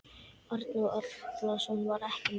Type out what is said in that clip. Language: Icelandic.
Arnór Atlason var ekki með.